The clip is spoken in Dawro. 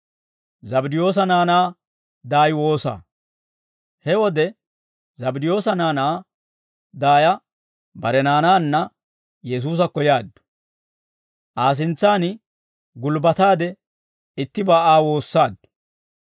He wode Zabddiyoosa naanaa daaya bare naanaanna Yesuusakko yaaddu; Aa sintsaan gulbbataade ittibaa Aa woossaaddu.